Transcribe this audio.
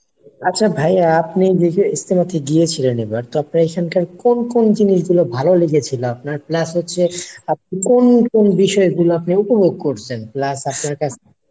আচ্ছা ভাইয়া আপনি যেহেতু ইজতেমাতে গিয়েছিলেন এবার তো আপনার এখানকার কোন কোন জিনিস গুলো ভালো লেগেছিলো আপনার plus হচ্ছে আপনি কোন কোন বিষয় গুলো আপনি উপভোগ করছেন plus আপনার কাছে